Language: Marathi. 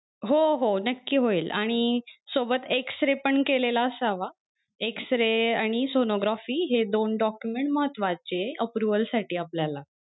हो हो नक्को होईल आणि सोबत x-ray पण केलेला असावा x-ray आणि sonography हे दोन document महत्वाचे approval साठी आपल्याला.